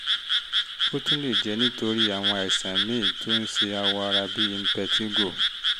ó tún lè jẹ́ nítorí àwọn àìsàn míì tó ń ṣe awọ ara bíi impetigo